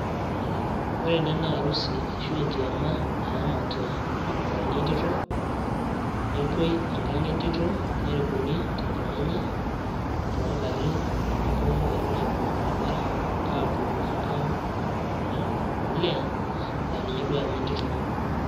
Ore naa ena naa arusi, ashu enkiyama nayaamate olmurani we ntito, nepuoi enkang' oo entito. Nerikuni te nkang' enye, too ngarin nepuonu ingarin, aibung olbaribara apuo enkang' oo olee naa ninye duo oyama entito.